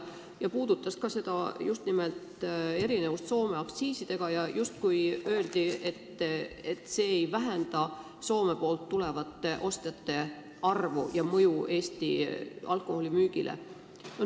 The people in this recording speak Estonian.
Seejuures puudutati ka erinevust Soome aktsiisidega ja avaldati arvamust, et see ei vähenda Soomest saabuvate ostjate arvu ega mõju Eesti alkoholimüügile.